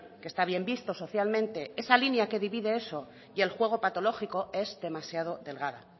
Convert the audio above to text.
que está bien visto socialmente esa línea que divide eso y el juego patológico es demasiado delgada